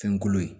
Fɛnkolo ye